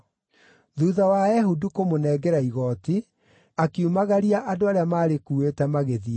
Thuutha wa Ehudu kũmũnengera igooti, akiumagaria andũ arĩa maarĩkuuĩte, magĩthiĩ.